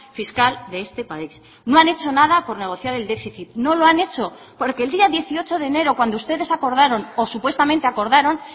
fiscal de este país no han hecho nada por negociar el déficit no lo han hecho porque el día dieciocho de enero cuando ustedes acordaron o supuestamente acordaron